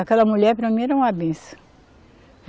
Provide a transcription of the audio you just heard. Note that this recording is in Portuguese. Aquela mulher para mim era uma benção.